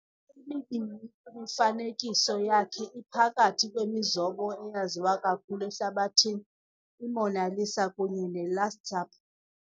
emibini kwimifanekiso yakhe iphakathi kwemizobo eyaziwa kakhulu ehlabathini- i"Mona Lisa" kunye ne"Last Supper".